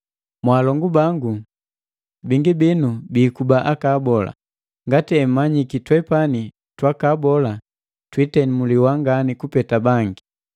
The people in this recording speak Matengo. Mwaalongu bangu, bingi binu biikuba aka abola, ngati emmanyiki twepani twakaabola twiitemuliwa ngani kupeta bangi.